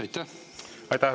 Aitäh!